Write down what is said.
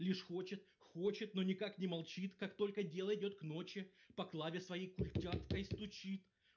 лишь хочет хочет но никак не молчит как только дело идёт к ночи по клавиатуре своей культяпкой стучит